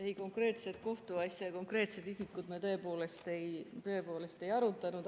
Ei, konkreetset kohtuasja ja konkreetseid isikuid me tõepoolest ei arutanud.